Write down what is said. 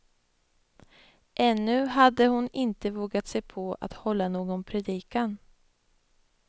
Ännu hade hon inte vågat sig på att hålla någon predikan.